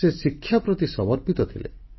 ସେ ଶିକ୍ଷାପ୍ରତି ସମର୍ପିତ ଥିଲେ